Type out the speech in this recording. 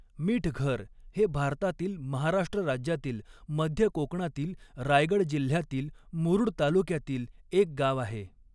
मिठघर हे भारतातील महाराष्ट्र राज्यातील मध्य कोकणातील रायगड जिल्ह्यातील मुरूड तालुक्यातील एक गाव आहे.